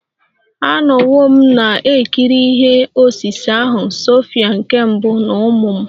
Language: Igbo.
Anọwo m na-ekiri ihe osise ahụ Sophia nke mbụ na ụmụ m